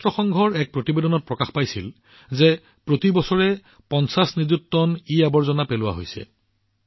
ৰাষ্ট্ৰসংঘৰ এক প্ৰতিবেদনত উল্লেখ কৰা হৈছিল যে প্ৰতি বছৰে ৫০ নিযুত টন ইআৱৰ্জনা নিষ্কাশন কৰা হৈছে